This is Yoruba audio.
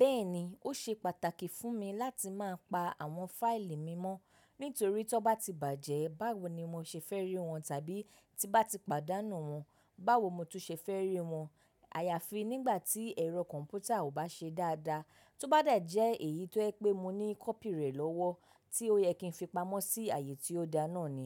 Bẹ́ẹ̀ni, ó ṣe pàtàkì fún mi láti máa pa àwọn fáìlì mi mọ́ nítorí ton bá ti bàjẹ́ báwo ni mo ṣe fẹ́ rí wọn tàbí tí bá ti pàdánù wọn báwo mo tún ṣe fẹ́ rí wọn. Àyàfi nígbà tí ẹ̀rọ kọ̀ǹpútà ò bá ṣe dáadáa, tó bá de jẹ́ èyí tó je pé mo ní kọ́pì rẹ̀ lọ́wọ́ tí ó yẹ kí n fi pamọ́ sí ààyè tí ó da náà ni.